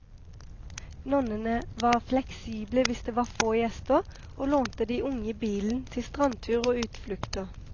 Nonnene var fleksible hvis det var få gjester, og lånte de unge bilen til strandtur og utflukter.